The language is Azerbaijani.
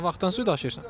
Nə vaxtdan su daşıyırsan?